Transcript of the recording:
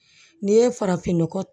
N'i ye farafinnɔgɔ